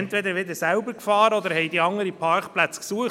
Oder sie haben andere Parkplätze gesucht.